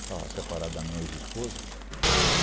Estava separado da minha ex-esposa.